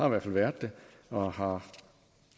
i hvert fald været det og har